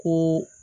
Ko